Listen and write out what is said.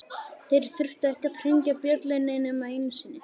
Þeir þurftu ekki að hringja bjöllunni nema einu sinni.